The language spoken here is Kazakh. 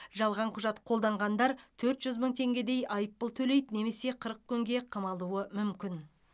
жалған құжат қолданғандар төрт жүз мың теңгедей айыппұл төлейді немесе қырық күнге қамалуы мүмкін